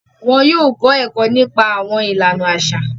Wọn yóò kọ ẹkọ nípa awọn ìlànà aṣa.